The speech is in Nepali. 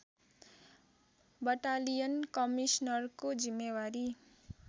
बटालियन कमिसनरको जिम्मेवारी